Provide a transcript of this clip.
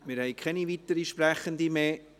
Wir haben keine weiteren Sprechenden mehr.